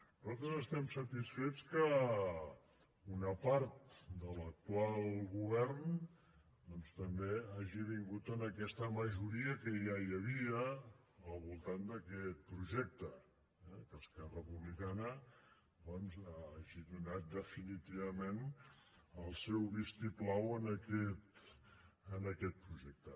nosaltres estem satisfets que una part de l’actual govern doncs també hagi vingut en aquesta majoria que ja hi havia al voltant d’aquest projecte eh que esquerra republicana doncs hagi donat definitivament el seu vistiplau en aquest projecte